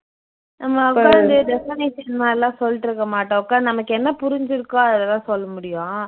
நம்ம உக்காந்து definition மாதிரியெல்லாம் சொல்லிட்டுடிருக்க மாட்டோம் உக்காந்து நமக்கு என்ன புரிஞ்சுருக்கோ அததான் சொல்ல முடியும்